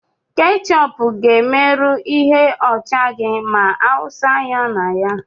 Ketchup ga-emerụ ihe ọcha gị ma awụsa ya na ya.